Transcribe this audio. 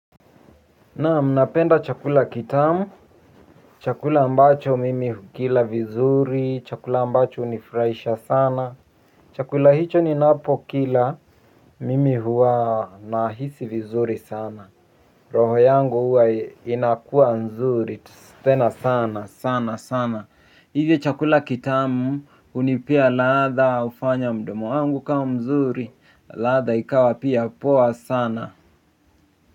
Naam napenda chakula kitamu, chakula ambacho mimi hukila vizuri, chakula ambacho hunifurahisha sana, chakula hicho ninapokila mimi huwa nahisi vizuri sana, roho yangu hua inakua nzuri, tena sana sana sana sana, hivyo chakula kitamu hunipea ladha hufanya mdomo wangu kama mzuri, ladha ikawa pia poa sana.